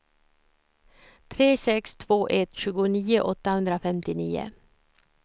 tre sex två ett tjugonio åttahundrafemtionio